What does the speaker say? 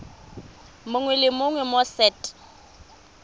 mongwe le mongwe mo set